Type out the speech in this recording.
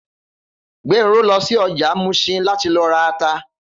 Gbenro lọ sí ọjà Muṣin láti lọ ra ata